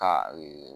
Ka ee